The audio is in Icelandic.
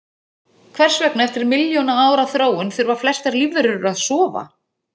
Hvers vegna, eftir milljóna ára þróun, þurfa flestar lífverur að sofa?